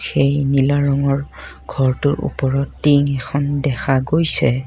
সেই নীলা ৰঙৰ ঘৰটোৰ উপৰত টিং এখন দেখা গৈছে।